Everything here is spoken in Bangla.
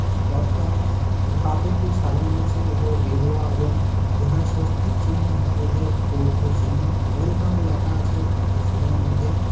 তে পথটা কিছু কাপড় দিয়ে সাজানো আছে ওপরে গেরুয়া এবং যেখানে স্বস্তিক চিহ্ন হিন্দুদের পবিত্র চিহ্ন ওয়েলকাম ল্যাখা আছে সেখানের মধ্যে।